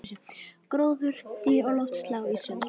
Gróður, dýr og loftslag á ísöld